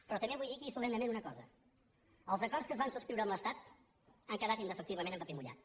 però també vull dir aquí solemnement una cosa els acords que es van subscriure amb l’estat han quedat indefectiblement en paper mullat